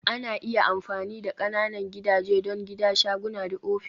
Ana iya amfani da ƙananan gidaje don gida, shaguna da ofis